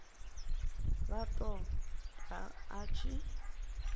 vha ṱo ḓa a tshi